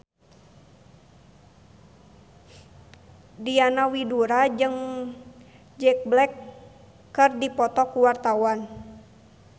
Diana Widoera jeung Jack Black keur dipoto ku wartawan